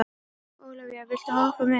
Ólavía, viltu hoppa með mér?